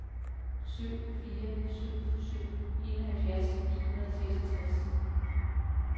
syv fire syv syv enoghalvfjerds ni hundrede og seksogtres